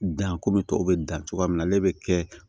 Danko bɛ tɔw bɛ dan cogo min na ale bɛ kɛ